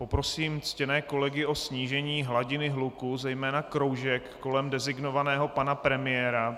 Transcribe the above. Poprosím ctěné kolegy o snížení hladiny hluku, zejména kroužek kolem designovaného pana premiéra.